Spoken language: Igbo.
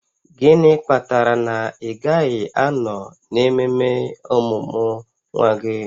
Gịnị kpatara na ị gaghị anọ n'ememe ọmụmụ nwa gị?